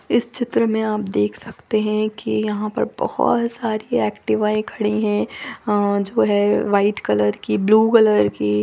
इस चित्र में आप देख सकते हैं कि यहाँ पर बहुत सारे एक्टिवाएँ खड़ी हैं अ जो है व्हाईट कलर की ब्लू कलर की।